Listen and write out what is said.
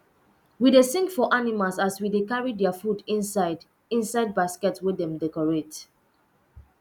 we dey sing for animals as we dey carry their food inside inside basket wey dem decorate